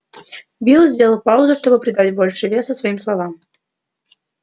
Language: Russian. билл сделал паузу чтобы придать больше веса своим словам